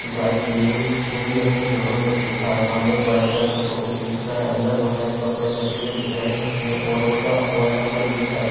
Dry cleaning Hindi और English दोनों में करके लिखा है। सामने एक वाइट कलर का शोकैस दिख रहा है अंदर बोहोत सारे कपड़े रखे हुए दिख रहे हैं और उनका मोबाइल नंबर भी दिख रहा है।